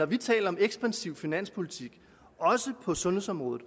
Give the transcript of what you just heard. vi taler om ekspansiv finanspolitik også på sundhedsområdet